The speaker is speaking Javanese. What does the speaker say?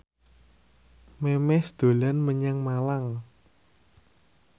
Memes dolan menyang Malang